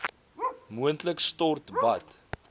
moontlik stort bad